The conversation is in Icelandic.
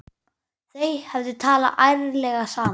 Þau hefðu talað ærlega saman.